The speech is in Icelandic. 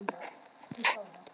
Ég mundi fara upp, sagði ég.